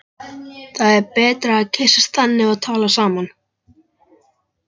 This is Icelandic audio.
Það er betra að kyssast þannig og tala saman.